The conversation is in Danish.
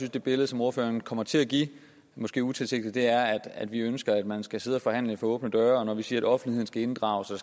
at det billede som ordføreren kommer til at give måske utilsigtet er at vi ønsker at man skal sidde og forhandle for åbne døre når vi siger at offentligheden skal inddrages og